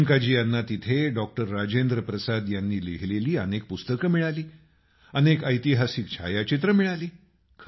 प्रियंकाजी यांना तिथं डॉक्टर राजेंद्रप्रसाद यांनी लिहिलेली अनेक पुस्तकं मिळाली अनेक ऐतिहासिक छायाचित्रं मिळाली